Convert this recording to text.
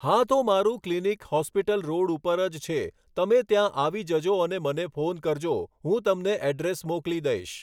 હા તો મારું ક્લિનિક હોસ્પિટલ રોડ ઉપર જ છે તમે ત્યાં આવી જજો અને મને ફોન કરજો હું તમને એડ્રેસ મોકલી દઈશ